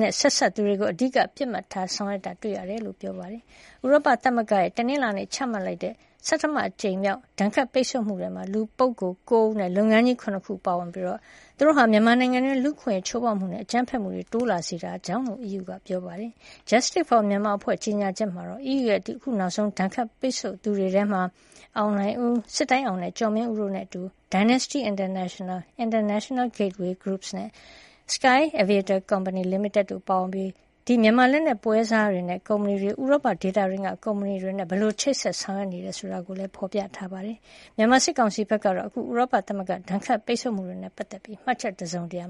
နဲ့ ဆက်စပ်သူတွေကို အဓိကထား ပစ်မှတ်ထားဆောင်ရွက်ထားကြောင်း ဖော်ပြထားပါတယ်။ ဥရောပ သမဂ္ဂ EU ရဲ့ တနလာင်္နေ့က ချမှတ်လိုက်တဲ့ ဆဌမ အကြိမ်မြောက် ဒဏ်ခတ်ပိတ်ဆို့မှုထဲမှာတော့ လူပုဂ္ဂိုလ် ၉ ဦးနဲ့ လုပ်ငန်းကြီး ၇ ခုတို့ ပါဝင်ပြီး သူတို့ဟာ မြန်မာနိုင်ငံတွင်း လူ့အခွင့်အရေး ချိုးဖောက်မှုနဲ့ အကြမ်းဖက်မှုတွေ တိုးလာစေတာကြောင့်လို့ EU က ပြောပါတယ်။ Justice for Myanmar အဖွဲ့ရဲ့ ကြေညာချက်မှာတာ့ အီးယူရဲ့ အခု နောက်ဆုံး ဒဏ်ခတ်ပိတ်ဆို့ခံရသူတွေထဲမှာ အောင်လှိုင်ဦး၊ စစ်တိုင်းအောင်နဲ့ ကျော်မင်းဦးတို့နဲ့ အတူ Dynasty International, International Gateways Group နဲ့ Sky Aviator Company Limited တို့လည်း ပါဝင်ပြီး ဒီ မြန်မာ လက်နက်ပွဲစားတွေနဲ့ ကုမ္ပဏီတွေ ဥရောပဒေသတွင်းက ကုမ္ပဏီတွေနဲ့ ဘယ်လို ချိတ်ဆက်နေတယ် ဆိုတာကိုပါ ဖော်ပြထားပါတယ်။ မြန်မာ စစ်ကောင်စီဘက်ကတော့ အခု ဥရောပ သမဂ္ဂရဲ့ ဒဏ်ခတ်ပိတ်ဆို့မှုတွေနဲ့ ပတ်သက်ပြီး မှတ်ချက် တစုံတရာ